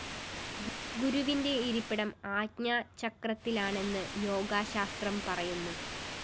ഗുരുവിന്റെ ഇരിപ്പിടം ആജ്ഞാചക്രത്തിലാണെന്ന് യോഗശാസ്ത്രം പറയുന്നു